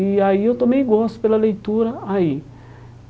E aí eu tomei gosto pela leitura aí.